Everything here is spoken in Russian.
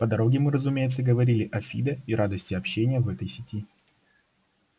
по дороге мы разумеется говорили о фидо и радости общения в этой сети